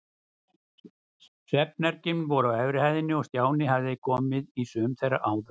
Svefnherbergin voru á efri hæðinni og Stjáni hafði komið í sum þeirra áður.